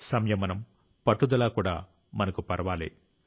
సంయమనం పట్టుదల కూడా మనకు పర్వాలే